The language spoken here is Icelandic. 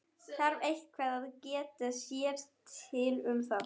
Þarf eitthvað að geta sér til um það?